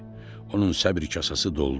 Onun səbir kasası doldu.